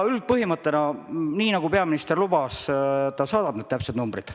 Nii nagu peaminister lubas, ta saadab teile täpsed numbrid.